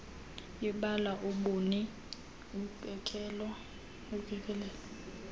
ibala ubuni ukekelelo